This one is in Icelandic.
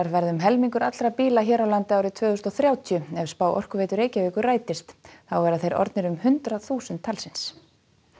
verða um helmingur allra bíla hér á landi árið tvö þúsund og þrjátíu ef spá Orkuveitu Reykjavíkur rætist þá verða þeir orðnir um hundrað þúsund talsins